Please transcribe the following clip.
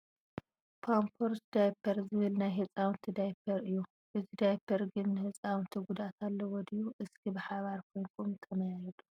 ፓምበርስ ዳይበር ዝብል ናይ ህፃውንቲ ዳይበር እዩ ። እዚ ድያበር ግን ንህፃውነቲ ጉድኣት ኣለዎ ድዩ እስኪ ብሓበር ኮይንኩም ተመያየጡ ?